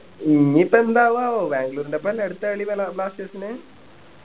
ഇനീപ്പോ എന്താവുക ആവോ ബാംഗ്ലൂരിൻറെ ഒപ്പം അല്ലെ അടുത്ത കളി balsters ൻ്റെ